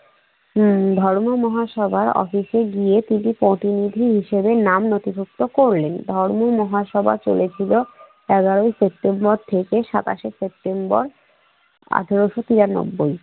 হম ধর্ম মহাসভার অফিসে গিয়ে তিনি প্রতিনিধি হিসেবে নাম নথিভুক্ত করলেন। ধর্ম মহাসভা চলেছিল এগারই সেপ্টেম্বর থেকে সাতাশে সেপ্টেম্বর আঠারোশ তিরানব্বই।